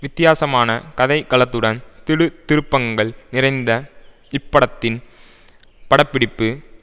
வித்தியாசமான கதைக் களத்துடன் திடுக் திருப்பங்கள் நிறைந்த இப்படத்தின் படப்பிடிப்பு